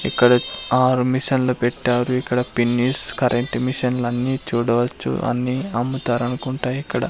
ఇక్కడ ఆరు మిషన్లు పెట్టారు ఇక్కడ పిన్నిస్ కరెంట్ మిషన్లు అన్ని చూడవచ్చు అని అమ్ముతారనుకుంట ఇక్కడ.